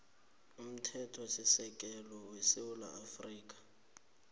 umthethosisekelo wesewula afrika